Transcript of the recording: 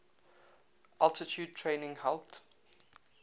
altitude training helped